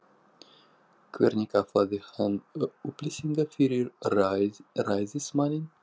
Hvernig aflaði hann upplýsinga fyrir ræðismanninn?